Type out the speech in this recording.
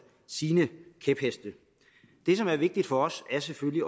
sine kæpheste det som er vigtigt for os er selvfølgelig